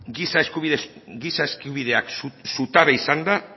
giza eskubideak zutabe izanda